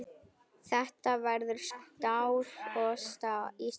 Þetta verður stál í stál.